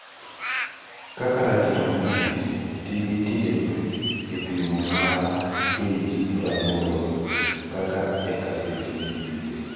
Kaka ratiro mongere, tii gi (TSP) e pimo mare KG praboro ka eka seche pitho.